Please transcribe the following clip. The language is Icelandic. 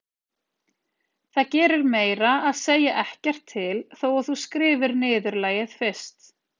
Það gerir meira að segja ekkert til þó að þú skrifir niðurlagið fyrst.